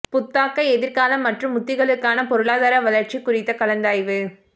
புத்தாக்க எதிர்காலம் மற்றும் உத்திகளுக்கான பொருளாதார வளர்ச்சி குறித்த கலந்தாய்வு